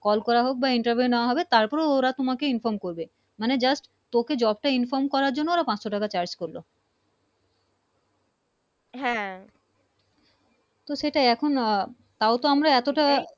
Call করা হক বা Interview নেওয়া হবে তার পর ওরা তোমাকে Inform করবে মানে Just তোকে Job টা Inform করার জন্য পাচশো টাকা Charges করলো তো সেটা তাও তো আমরা এতো টা